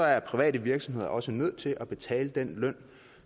er private virksomheder også nødt til at betale den løn